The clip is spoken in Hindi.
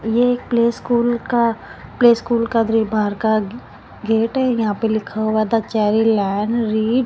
ये एक प्ले स्कूल का प्ले स्कूल का दरि बाहर का ग गेट है यहाँ पे लिखा हुआ है द चेरी लैंड रीड --